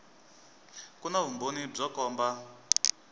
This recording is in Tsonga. ku na vumbhoni byo komba